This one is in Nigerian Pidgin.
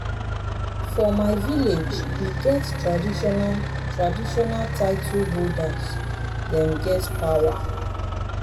for my village we get traditional traditional title holders dem get power.